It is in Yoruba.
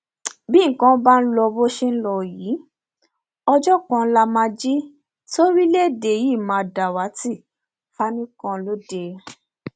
bí nǹkan bá ń lọ bó ṣe ń lọ yìí ọjọ kan lá máa jí toríléèdè yìí máa dàwátì fani kanode